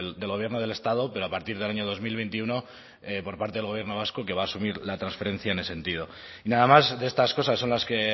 del gobierno del estado pero a partir del año dos mil veintiuno por parte del gobierno vasco que va asumir la transferencia en ese sentido y nada más de estas cosas son las que